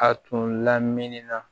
A tun lamini na